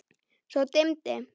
Svo dimmdi.